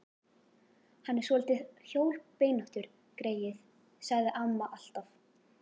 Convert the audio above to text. Hann er svolítið hjólbeinóttur, greyið, sagði amma alltaf.